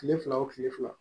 Kile fila o kile fila